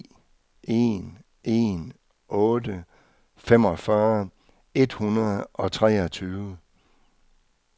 ni en en otte femogfyrre et hundrede og treogtyve